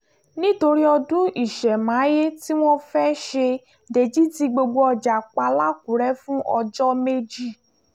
nítorí ọdún ìṣẹ̀máyé tí wọ́n fẹ́ẹ́ ṣe dèjì tí gbogbo ọjà pa làkúrẹ́ fún ọjọ́ méjì